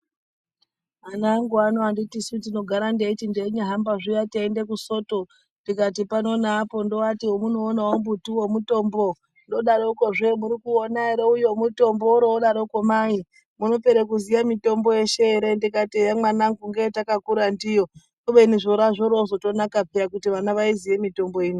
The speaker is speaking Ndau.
Anangu ano anditisu ndinogara ndeiti ndeinyahamba zviya teiende kusoto tikati pano neapo ndoati wemunoona mutiwo mutombo ,ndodarokozve murikuuona ere uyo mutombo worrodaroko mai munopere kuziye mitombo yeshe ere ,ndikati eya mwanangu ndiyo yatakura ndiyo kubeni zvoroozotonaka peya kuti vana vaiziye mitombo ino.